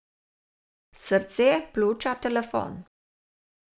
Srce, pljuča, telefon.